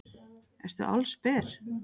Ertu allsber?